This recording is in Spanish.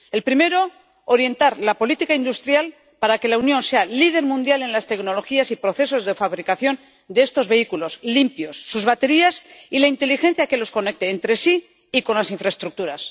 El primero, orientar la política industrial para que la Unión sea líder mundial en las tecnologías y procesos de fabricación de estos vehículos limpios, sus baterías y la inteligencia que los conecte entre sí y con las infraestructuras.